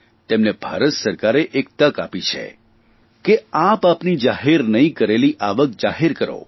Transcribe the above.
તેમને ભારત સરકારે એક તક આપી છે કે આપ આપની જાહેર નહીં કરેલી આવક જાહેર કરો